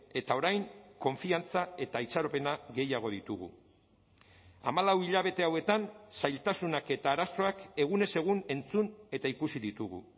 eta orain konfiantza eta itxaropena gehiago ditugu hamalau hilabete hauetan zailtasunak eta arazoak egunez egun entzun eta ikusi ditugu